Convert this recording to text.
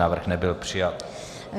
Návrh nebyl přijat.